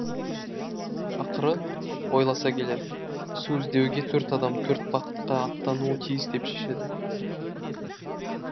ақыры ойласа келе су іздеуге төрт адам төрт бағытқа аттануы тиіс деп шешеді